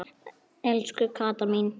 Elsku Katla mín.